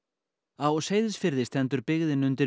á Seyðisfirði stendur byggðin undir